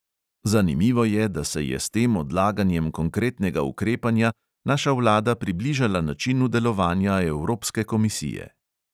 Zanimivo je, da se je s tem odlaganjem konkretnega ukrepanja naša vlada približala načinu delovanja evropske komisije.